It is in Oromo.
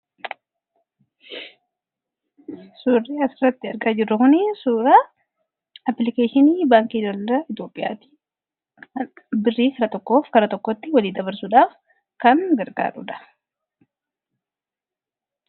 Suurii as irratti argaa jirru kuni suuraa aplikeeshinii baankii daldaala Itoophiyaati. Birrii kara tokkoo kara tokkotti walii dabarsuudhaaf kan gargaaruudha.